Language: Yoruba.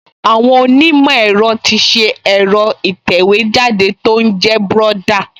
Àwọn onímọ̀ ẹ̀rọ ti ṣe ẹ̀rọ ìtẹ̀wéjáde tó ń jẹ́ Brother